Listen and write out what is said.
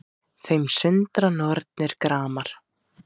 Þeim sundra nornir gramar